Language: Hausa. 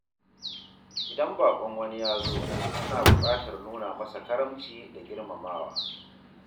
Idan baƙon wani ya zo, ana buƙatar nuna masa karamci da girmamawa.